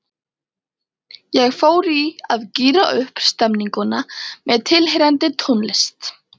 Ég fór í að gíra upp stemninguna með tilheyrandi tónlist.